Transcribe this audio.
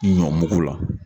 Ɲɔmugu la.